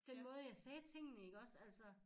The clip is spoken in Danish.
Den måde jeg sagde tingene iggås altså